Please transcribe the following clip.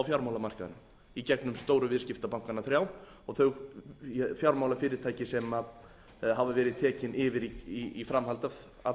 fjármálamarkaðnum í gegnum stóru viðskiptabankana þrjá og þau fjármálafyrirtæki sem hafa verið tekin yfir í framhaldi af hruninu